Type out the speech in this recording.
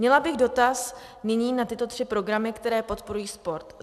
Měla bych dotaz nyní na tyto tři programy, které podporují sport: